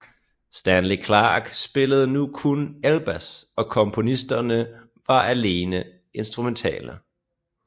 Stanley Clarke spillede ny kun elbas og kompositionerne var alene instrumentale